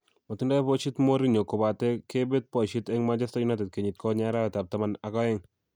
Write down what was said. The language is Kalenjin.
Matindoi boisiet Mourinho kobate kebet boisiet eng Manchester United kenyit konye arawetab taman ak oeng